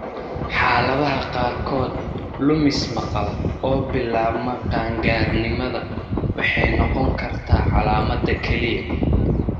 Xaaladaha qaarkood, lumis maqal oo bilaabma qaangaarnimada waxay noqon kartaa calaamadda keliya.